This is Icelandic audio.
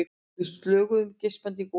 Við slöguðum geispandi í golunni.